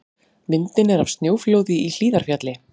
Myndin er af snjóflóði í Hlíðarfjalli.